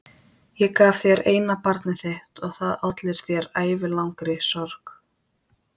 Ég gaf þér eina barnið þitt og það olli þér ævilangri sorg.